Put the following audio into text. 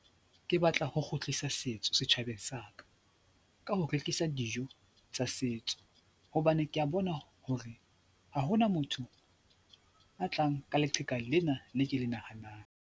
Ke batla ho kgutlisa setso setjhabeng sa ka ka ho rekisa dijo tsa setso hobane ke a bona hore ha hona motho a tlang ka leqheka lena le ke le nahanang.